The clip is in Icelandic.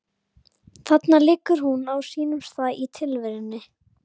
Þarna liggur hún á sínum stað í tilverunni.